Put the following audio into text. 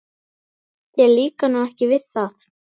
Þér líkar nú ekki við það?